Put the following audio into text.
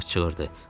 Thomas çığırdı.